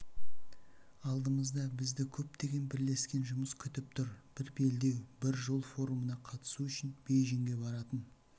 алдымызда бізді көптеген бірлескен жұмыс күтіп тұр бір белдеу бір жол форумына қатысу үшін бейжіңге баратын